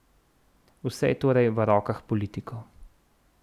Vse je torej v rokah politikov.